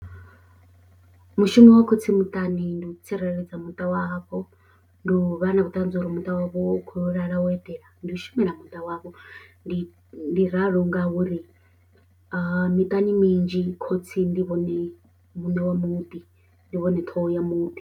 Mushumo wa khotsi muṱani ndi u tsireledza muṱa wavho ndi u vha na vhuṱanzi uri muṱa wavho wa u khou lala wo eḓela ndi u shumela muṱa wavho ndi ndi ralo ngauri miṱani minzhi khotsi ndi vhone muṋe wa muḓi ndi vhone ṱhoho ya muḓi.